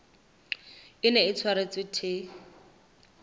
e neng e tshwaretswe the